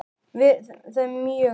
Og við náðum saman.